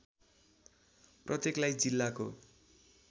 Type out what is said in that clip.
प्रत्येकलाई जिल्लाको